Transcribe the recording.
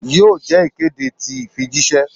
Yoo jẹ ikede ti ifijiṣẹ?